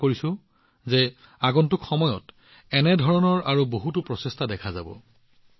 মই আশা কৰোঁ যে আগন্তুক সময়ত এনে ধৰণৰ আৰু বহুতো প্ৰচেষ্টা দেখা পোৱা যাব